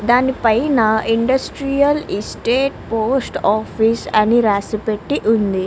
దాని పైన industrial estate post office అని రాసి పెట్టి ఉంది.